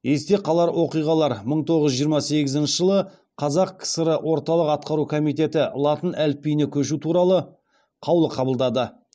есте қалар оқиғалар мың тоғыз жүз жиырма сегізінші жылы қазақ кср орталық атқару комитеті латын әліпбиіне көшу туралы қаулы қабылдады